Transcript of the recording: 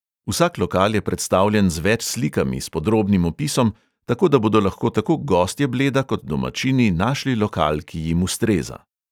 Vsak lokal je predstavljen z več slikami, s podrobnim opisom, tako da bodo lahko tako gostje bleda kot domačini našli lokal, ki jim ustreza.